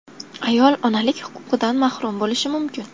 Ayol onalik huquqidan mahrum bo‘lishi mumkin.